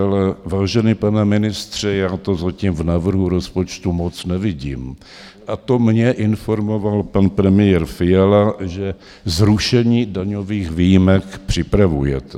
Ale vážený pane ministře, já to zatím v návrhu rozpočtu moc nevidím, a to mě informoval pan premiér Fiala, že zrušení daňových výjimek připravujete.